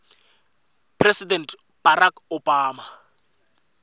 president barack obama